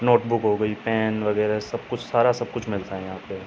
note book हो गई pen वगैरा सारा सबकुछ सारा कुछ मिलता है यहाँ पे --